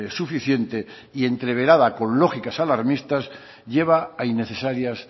suficiente y entreverada con lógicas alarmistas lleva a innecesarias